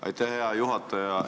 Aitäh, hea juhataja!